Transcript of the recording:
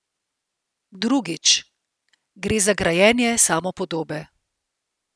Drugič: "Gre za grajenje samopodobe.